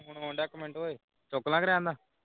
phone ਆਉਂਦੇ ਆ ਇਕ ਮਿਲਣ ਉਏ ਚੁੱਕ ਲਵਾਂਕੇ ਰਹਿਣ ਦਵਾਂ